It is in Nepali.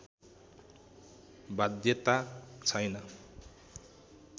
बाध्यता छैन